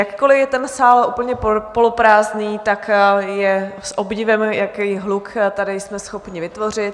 Jakkoli je ten sál úplně poloprázdný, tak je s podivem, jaký hluk tady jsme schopni vytvořit.